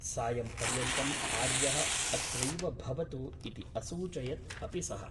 सायम्पर्यन्तम् आर्यः अत्रैव भवतु इति असूचयत् अपि सः ।